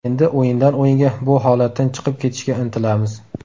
Endi o‘yindan-o‘yinga bu holatdan chiqib ketishga intilamiz.